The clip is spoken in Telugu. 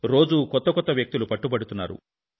రోజూ కొత్త కొత్త వ్యక్తులు పట్టుబడుతున్నారు